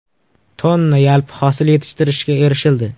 tonna yalpi hosil yetishtirishga erishildi.